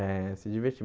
É, se divertir.